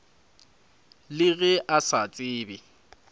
le ge a sa tsebe